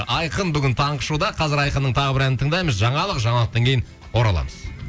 айқын бүгін таңғы шоуда қазір айқынның тағы бір әнін тыңдаймыз жаңалық жаңалықтан кейін ораламыз